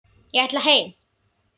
Ég ætla heim!